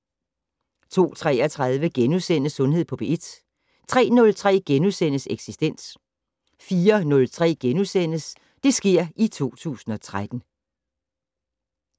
02:33: Sundhed på P1 * 03:03: Eksistens * 04:03: Det sker i 2013 *